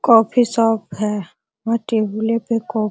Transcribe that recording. coffee shop है --